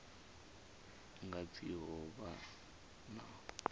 nga pfi ho vha na